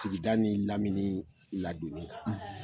Sigida ni lamini ladonni kan;